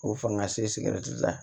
K'o fanga se sigida la